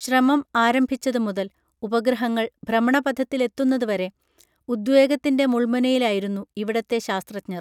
ശ്രമം ആരംഭിച്ചത് മുതൽ ഉപഗ്രഹങ്ങൾ ഭ്രമണപഥത്തിലെത്തുന്നത് വരെ ഉദ്വേഗത്തിൻറെ മുൾമുനയിലായിരുന്നു ഇവിടത്തെ ശാസ്ത്രജ്ഞർ